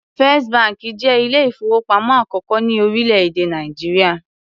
First bank jẹ́ ilé-ìfowópamọ́ àkọ́kọ́ ní orílẹ̀-èdè Nàìjíríà.